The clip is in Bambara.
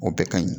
O bɛɛ ka ɲi